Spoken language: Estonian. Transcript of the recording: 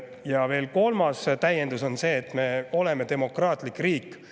Ja veel kolmas täiendus on see, et me oleme demokraatlik riik.